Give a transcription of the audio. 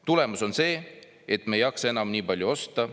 "Tulemus on see, et me ei jaksa enam nii palju osta.